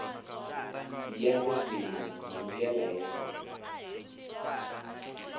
ya ririmi hi ndlela ya